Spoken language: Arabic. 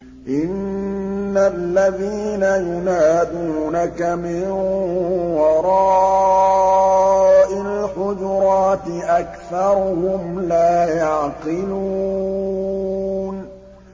إِنَّ الَّذِينَ يُنَادُونَكَ مِن وَرَاءِ الْحُجُرَاتِ أَكْثَرُهُمْ لَا يَعْقِلُونَ